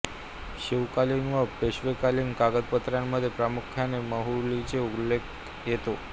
शिवकालीन व पेशवेकालीन कागदपत्रांमध्ये प्रामुख्याने माहुलीचा उल्लेख येतो